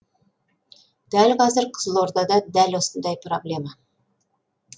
дәл қазір қызылордада дәл осындай проблема